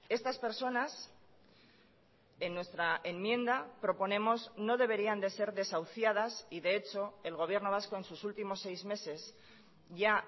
estas personas en nuestra enmienda proponemos no deberían de ser desahuciadas y de hecho el gobierno vasco en sus últimos seis meses ya